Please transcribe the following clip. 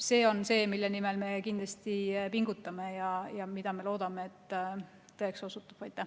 See on see, mille nimel me kindlasti pingutame ja mida loodame tõeks osutuvat.